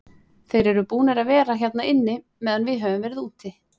Þeir eru búnir að vera hérna inni meðan við höfum verið úti.